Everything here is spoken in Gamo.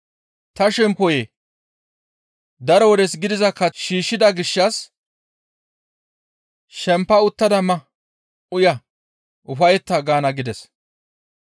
Ta shemppoyee! Daro wodes gidiza kath shiishshida gishshas shempa uttada ma; uya; ufayetta› gaana gides.